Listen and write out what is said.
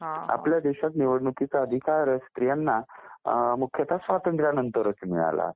आपल्या देशात निवडणुकीचा अधिकार स्त्रियांना मुख्यतः स्वातंत्र्यानंतर मिळाला.